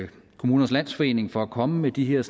kommunernes landsforening for at komme med de her